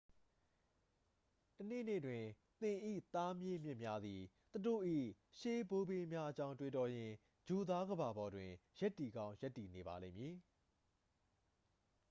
တစ်နေ့နေ့တွင် သင်၏သားမြေးမြစ်များသည် သူတို့၏ ရှေးဘိုးဘေးများအကြောင်း တွေးတောရင်း ဂြိုလ်သားကမ္ဘာပေါ်တွင် ရပ်တည်ကောင်း ရပ်တည်နေပါလိမ့်မည်